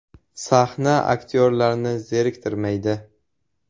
Sahna aktyorlarni zeriktirmaydi.